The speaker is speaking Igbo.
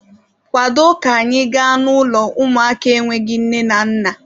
Kwado ka anyị gaa n'ụlọ ụmụaka enweghị nne na nna!